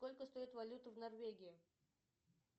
сколько стоит валюта в норвегии